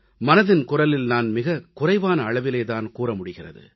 மனதின் குரலில் நான் மிகக் குறைவான அளவிலே தான் கூற முடிகிறது